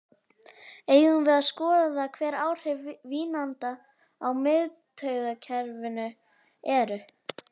Eigum við að skoða hver áhrif vínanda á miðtaugakerfið eru?